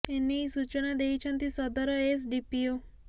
ଏନେଇ ସୂଚନା ଦେଇଛନ୍ତି ସଦର ଏସ୍ ଡି ପି ଓ